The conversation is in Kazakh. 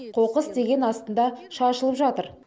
қоқыс деген астында шашылып жатыр